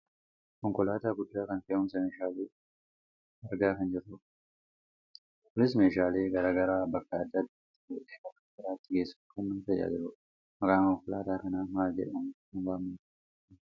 Konkolaataa guddaa kan fe'umsa meeshaalee argaa kan jirrudha. Kunis meeshaalee gara garaa bakka adda addaati fuudhee bakka biraatti geessuuf kan nu tajaajiludha. Maqaan Konkolaataa kanaa mala jedhamuun kan waamamuudha laata?